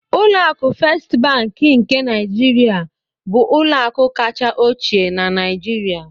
Ụlọ akụ Fést Bankị nke Niijiria bụ ụlọakụ kacha ochie na Niijiria.